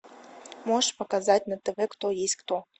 можешь показать на тв кто есть кто